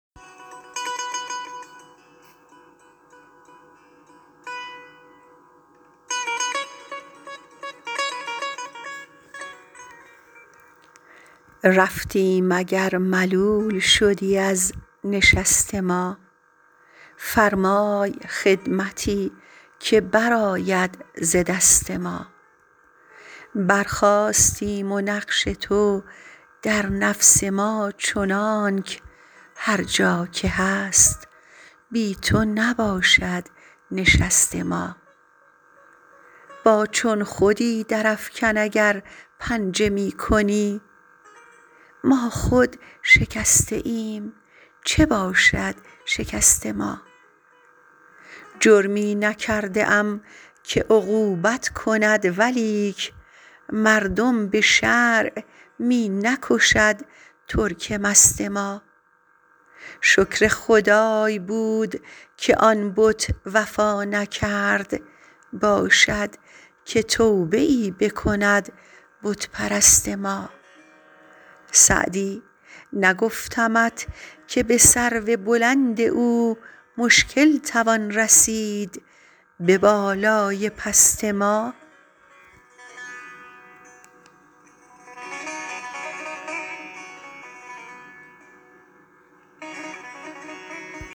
رفتیم اگر ملول شدی از نشست ما فرمای خدمتی که برآید ز دست ما برخاستیم و نقش تو در نفس ما چنانک هر جا که هست بی تو نباشد نشست ما با چون خودی درافکن اگر پنجه می کنی ما خود شکسته ایم چه باشد شکست ما جرمی نکرده ام که عقوبت کند ولیک مردم به شرع می نکشد ترک مست ما شکر خدای بود که آن بت وفا نکرد باشد که توبه ای بکند بت پرست ما سعدی نگفتمت که به سرو بلند او مشکل توان رسید به بالای پست ما